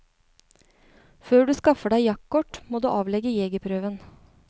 Før du skaffer deg jaktkort, må du avlegge jegerprøven.